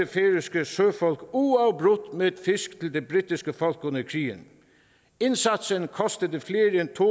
færøske søfolk uafbrudt med fisk til det britiske folk under krigen indsatsen kostede flere end to